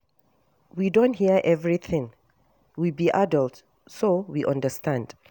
We don hear everything, we be adults so we understand